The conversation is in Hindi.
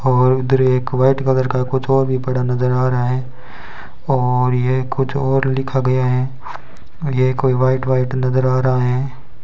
और उधर एक व्हाइट कलर का कुछ और भी पड़ा नजर आ रहा है और ये कुछ और लिखा गया है ये कोई व्हाइट व्हाइट नजर आ रहा है।